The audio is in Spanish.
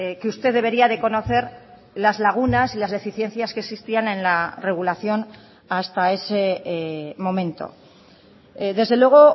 que usted debería de conocer las lagunas y las deficiencias que existían en la regulación hasta ese momento desde luego